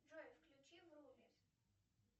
джой включи врумис